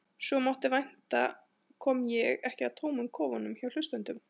Svo sem vænta mátti kom ég ekki að tómum kofunum hjá hlustendum.